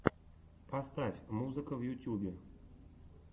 поставь музыка в ютьюбе